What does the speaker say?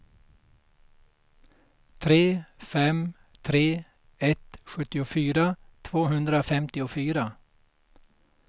tre fem tre ett sjuttiofyra tvåhundrafemtiofyra